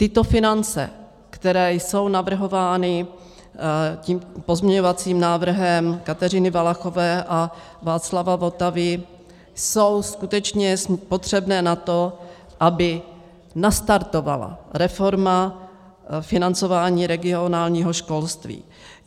Tyto finance, které jsou navrhovány tím pozměňovacím návrhem Kateřiny Valachové a Václava Votavy, jsou skutečně potřebné na to, aby nastartovala reforma financování regionálního školství.